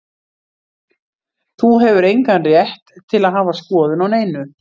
Þú hefur engan rétt til að hafa skoðun á neinu.